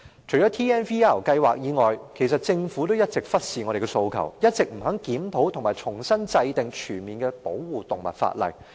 除了 TNVR 計劃外，政府也一直忽視我們的訴求，不肯檢討和重新制定全面的保護動物法例。